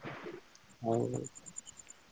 ହଉ।